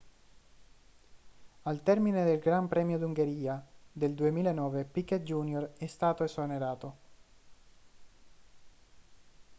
al termine del gran premio d'ungheria del 2009 piquet jr è stato esonerato